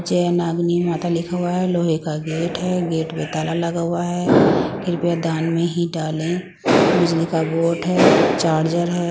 जय नागिनी माता लिखा हुआ है लोहे का गेट है गेट पे ताला लगा हुआ है कृपया दान में ही डाले बिजली का बोर्ड है चार्जर है ।